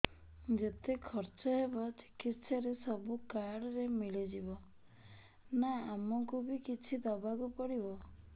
ଯେତେ ଖର୍ଚ ହେବ ଚିକିତ୍ସା ରେ ସବୁ କାର୍ଡ ରେ ମିଳିଯିବ ନା ଆମକୁ ବି କିଛି ଦବାକୁ ପଡିବ